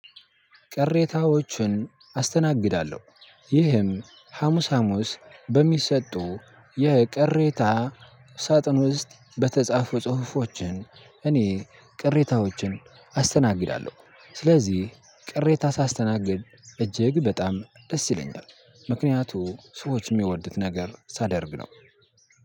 ቅሬታወችን አስተናግዳለሁ ይህም ሀሙስ ሀሙስ በሚሰጡ የቅሬታ ሳጥን ውስጥ በተጻፉ ጽሁፎችን እኔ ቅሬታዎችን አስተናግዳለሁ። ስለዚህ ቅሬታ ሳስተናግድ እጅግ በጣም ደስ ይለኛል። ምክንያቱም ሰዎች እሚወድት ነገር ሳደርግ ነው።